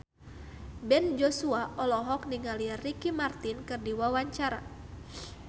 Ben Joshua olohok ningali Ricky Martin keur diwawancara